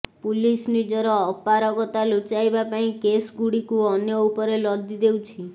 police ନିଜର ଅପରାଗତା ଲୁଚାଇବା ପାଇଁ କେସ୍ଗୁଡ଼ିକ ଅନ୍ୟ ଉପରେ ଲଦି ଦେଉଛି